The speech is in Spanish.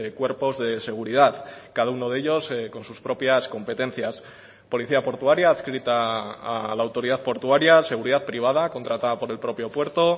cuerpos de seguridad cada uno de ellos con sus propias competencias policía portuaria adscrita a la autoridad portuaria seguridad privada contratada por el propio puerto